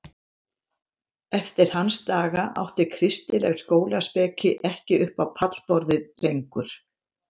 Eftir hans daga átti kristileg skólaspeki ekki upp á pallborðið lengur.